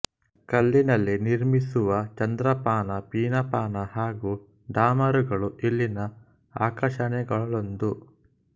ಕಲ್ಲಿನಲ್ಲಿ ನಿರ್ಮಿಸಿರುವ ಚಂದ್ರಪಾನ ಪೀನಪಾನ ಹಾಗೂ ಡಮರುಗಳು ಇಲ್ಲಿನ ಆಕರ್ಷಣೆಗಳಲ್ಲೊಂದು